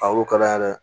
A y'o kalaya dɛ